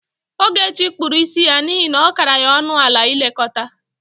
Ogechi kpuru isi ya n'ihe na ọ kara ya ọnụ ala ilekọta.